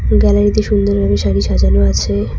Gallery -তে সুন্দরভাবে শাড়ি সাজানো আছে।